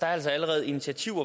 der er altså allerede initiativer